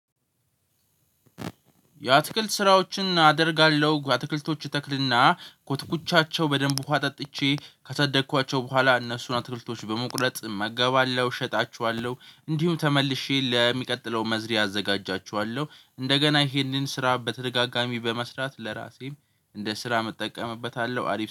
የአትክልት ስራዎችን አደርጋለሁ አትክልቶች እተክልና ኮትኩቻቸው በደንብ ውሃ ጠጥቼ ካሳደኳቸው በኋላ እነሱን አትክልቶች በመቁረጥ እመገባለሁ እሸጣችኋለሁ። እንዲሁም ተመልሼ ለሚቀጥለው መዝሪያ አዘጋጃችኋለሁ። እንደገና ይሄንን ስራ በተደጋጋሚ በመስራት ለራሴም እንደ ስራ እጠቀምበታለሁ አሪፍ